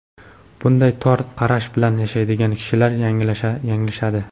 Bunday tor qarash bilan yashaydigan kishilar yanglishadi.